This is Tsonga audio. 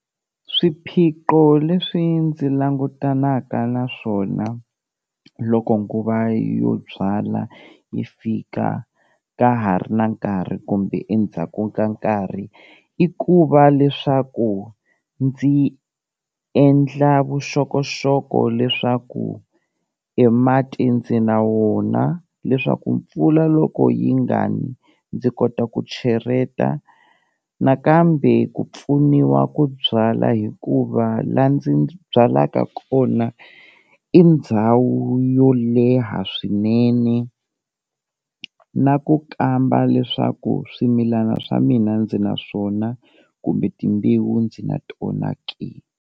Swiphiqo leswi ndzi langutanaka na swona loko nguva yo byala yi fika ka ha ri na nkarhi kumbe endzhaku ka nkarhi, i ku va leswaku ndzi endla vuxokoxoko leswaku e mati ndzi na wona leswaku mpfula loko yi nga ni ndzi kota ku cheleta, nakambe ku pfuniwa ku byala hikuva la ndzi byalaka kona i ndhawu yo leha swinene na ku kamba leswaku swimilana swa mina ndzi na swona kumbe timbewu ndzi na tona ke.